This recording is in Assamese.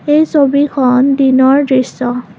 এই ছবিখন দিনৰ দৃশ্য।